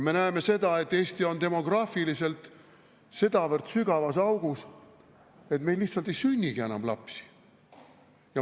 Me näeme seda, et Eesti on demograafiliselt sedavõrd sügavas augus, et meil lihtsalt ei sünnigi enam lapsi.